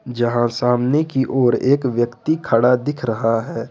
जहां सामने की ओर एक व्यक्ति खड़ा दिख रहा है।